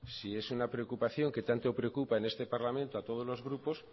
si es una preocupación que tanto preocupa en este parlamento a todos los grupos